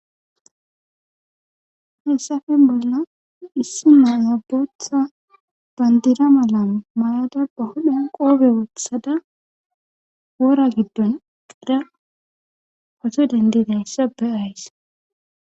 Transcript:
Hessafe bolna issi maanabotha bandira malan mayada ba hodhan qoobe wothada wora giddon qida pato dendida hessape ays.